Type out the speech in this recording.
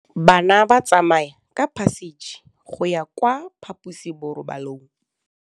Bana ba tsamaya ka phašitshe go ya kwa phaposiborobalong.